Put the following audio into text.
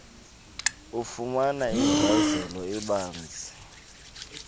ufumane inkcazelo ebanzi